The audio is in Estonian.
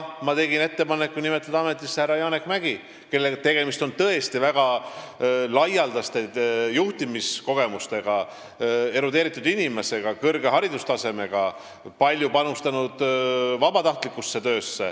Ma tegin ettepaneku nimetada ametisse ka härra Janek Mäggi, kes on tõesti väga laialdaste juhtimiskogemustega erudeeritud inimene, kõrge haridustasemega, kes on palju panustanud vabatahtlikusse töösse.